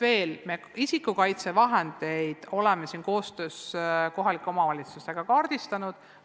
Me oleme isikukaitsevahendeid koos kohalike omavalitsustega kaardistanud.